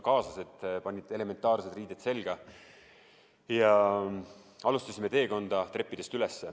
Kaaslased panid ka elementaarsed riided selga ja alustasime teekonda treppidest üles.